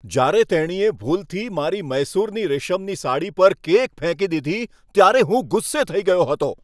જ્યારે તેણીએ ભૂલથી મારી મૈસૂરની રેશમની સાડી પર કેક ફેંકી દીધી ત્યારે હું ગુસ્સે થઈ ગયો હતો.